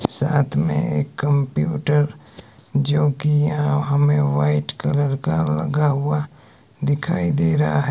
साथ में एक कंप्यूटर जो कि यहा हमें व्हाइट कलर का लगा हुआ दिखाई दे रहा है।